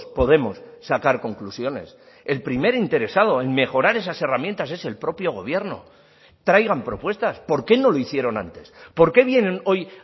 podemos sacar conclusiones el primer interesado en mejorar esas herramientas es el propio gobierno traigan propuestas por qué no lo hicieron antes por qué vienen hoy